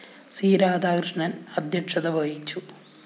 C Radhakrishnan‍ ആധ്യക്ഷത വഹിച്ചു